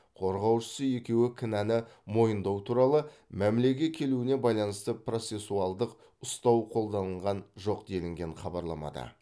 қорғаушысы екеуі кінәні мойындау туралы мәмілеге келуіне байланысты процессуалдық ұстау қолданылған жоқ делінген хабарламада